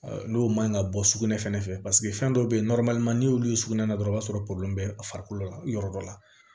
N'o man ɲi ka bɔ sugunɛ fɛnɛ fɛ paseke fɛn dɔ bɛ yen n'i y'olu ye sugunɛ na dɔrɔn i b'a sɔrɔ bɛ a farikolo la yɔrɔ dɔ la